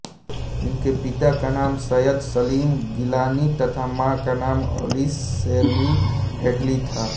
इनके पिता का नाम सैयद सलीम गिलानी तथा मां का नाम अलिस सेरील हेडली था